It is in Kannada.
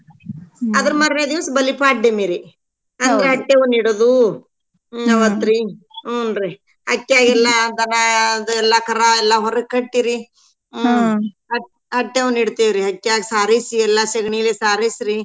ಅದ್ರ್ ಮಾರ್ನೆ ದೀವ್ಸ್ ಬಲಿಪಾಡ್ಯಮೀರಿ ಅಂದ್ರ ಹಟ್ಯವ್ನಇಡುದು ಅವತ್ರಿ ಹೂನ್ರಿ ಹಕ್ಯಾಗ್ಗೆಲ್ಲಾ ದನಾ ಅದ್ ಎಲ್ಲಾ ಕರಾ ಎಲ್ಲಾ ಹೊರ್ಗ ಕಟ್ಟೀರೀ ಹಟ್~ ಹಟ್ಯವ್ನೀಡ್ತೆವ್ರಿ ಹಟ್ಯಾಗ್ ಸಾರೈಸಿ ಎಲ್ಲಾ ಸೆಗ್ನಿಲೇ ಸಾರೈಸ್ರೀ.